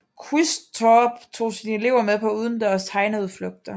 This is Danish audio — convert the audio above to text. Quistorp tog sine elever med på udendørs tegneudflugter